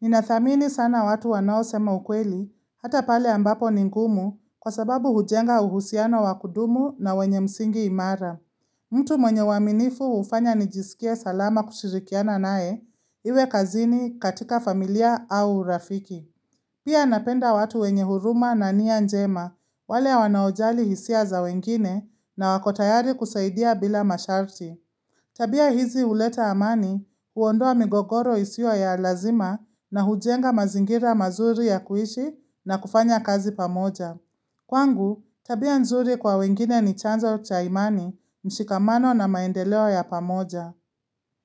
Ninathamini sana watu wanaosema ukweli hata pale ambapo ni ngumu kwa sababu hujenga uhusiano wa kudumu na wenye msingi imara. Mtu mwenye uaminifu hufanya nijisikie salama kushirikiana nae iwe kazini katika familia au urafiki. Pia napenda watu wenye huruma na nia njema, wale wanaojali hisia za wengine na wako tayari kusaidia bila masharti. Tabia hizi huleta amani, huondoa migogoro isiyo ya lazima na hujenga mazingira mazuri ya kuishi na kufanya kazi pamoja. Kwangu, tabia nzuri kwa wengine ni chanzo cha imani, mshikamano na maendeleo ya pamoja.